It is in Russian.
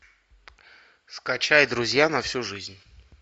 скачай друзья на всю жизнь